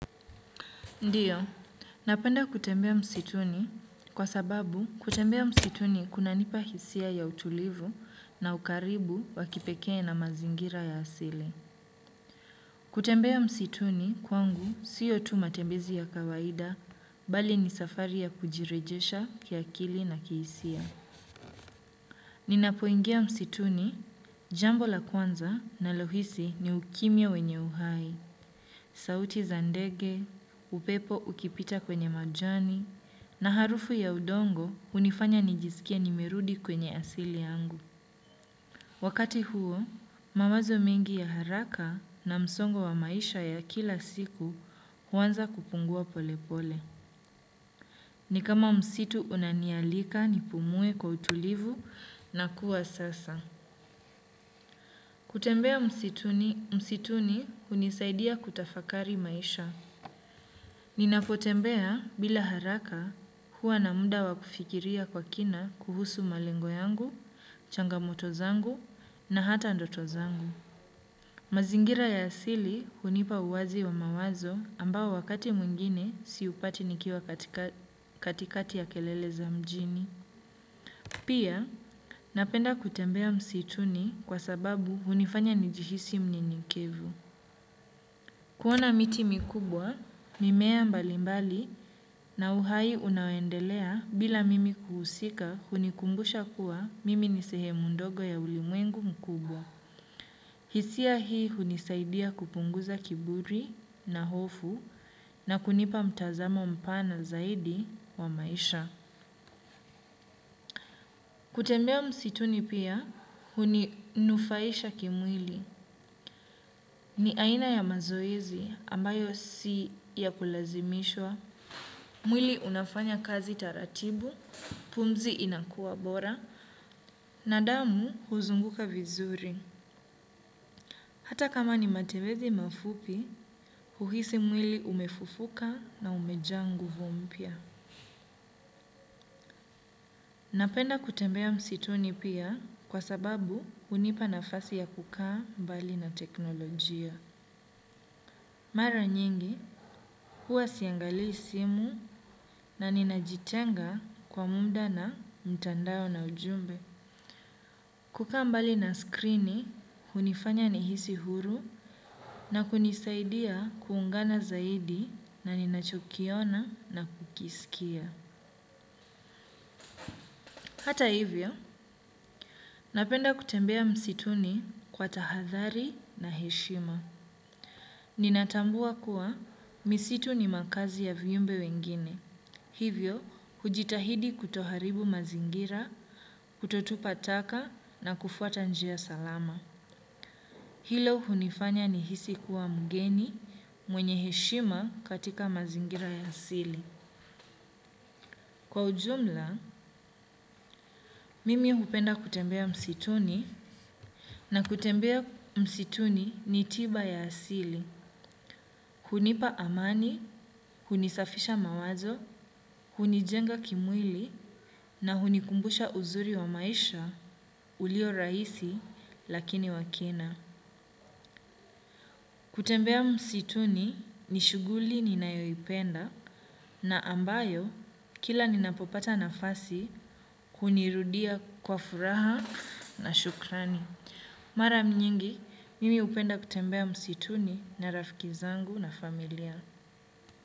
Ndiyo napenda kutembea msituni kwa sababu kutembea msituni kuna nipa hisia ya utulivu na ukaribu wakipekee na mazingira ya asili. Kutembea msituni kwangu sio tu matembezi ya kawaida bali ni safari ya kujirejesha kiakili na kihisia. Ninapoingia msituni jambo la kwanza ninalohisi ni ukimya wenye uhai sauti za ndege upepo ukipita kwenye majani na harufu ya udongo hunifanya nijisikie nimerudi kwenye asili yangu. Wakati huo mawazo mengi ya haraka na msongo wa maisha ya kila siku huanza kupungua pole pole. Ni kama msitu unanialika nipumue kwa utulivu na kuwa sasa. Kutembea msituni msituni hunisaidia kutafakari maisha. Ninapotembea bila haraka huwa na muda wa kufikiria kwa kina kuhusu malengo yangu changamoto zangu na hata ndoto zangu. Mazingira ya asili hunipa uwazi wa mawazo ambao wakati mwingine siupati nikiwa katikati ya kelele za mjini. Pia napenda kutembea msituni kwa sababu hunifanya nijihisi myenyekevu. Kuona miti mikubwa mimea mbali mbali na uhai unaoendelea bila mimi kuhusika hunikumbusha kuwa mimi nisehemu ndogo ya ulimwengu mkubwa. Hisia hii hunisaidia kupunguza kiburi na hofu na kunipa mtazamo mpana zaidi wa maisha. Kutembea msituni pia huni nufaisha kimwili. Ni aina ya mazoezi ambayo si ya kulazimishwa. Mwili unafanya kazi taratibu pumzi inakuwa bora na damu huzunguka vizuri. Hata kama ni matembezi mafupi huhisi mwili umefufuka na umejaa nguvu mpya. Napenda kutembea msituni pia kwa sababu hunipa nafasi ya kukaa mbali na teknolojia. Mara nyingi huwa siangalii simu na ninajitenga kwa muda na mtandao na ujumbe. Kukaa mbali na screen hunifanya nihisi huru na kunisaidia kuungana zaidi na ninachokiona na kukisikia. Hata hivyo napenda kutembea msituni kwa tahadhari na heshima. Ninatambua kuwa misitu ni makaazi ya viumbe wengine. Hivyo hujitahidi kuto haribu mazingira kutotupa taka na kufuata njia salama. Hilo hunifanya nihisi kuwa mgeni mwenye heshima katika mazingira ya asili. Kwa ujumla mimi hupenda kutembea msituni na kutembea msituni ni tiba ya asili. Hunipa amani hunisafisha mawazo hunijenga kimwili na hunikumbusha uzuri wa maisha ulio rahisi lakini wa kina. Kutembea msituni ni shughuli ninayoipenda na ambayo kila ninapopata nafasi kunirudia kwa furaha na shukrani. Mara nyingi mimi hupenda kutembea msituni na rafiki zangu na familia.